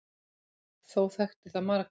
Þó þekkti það marga.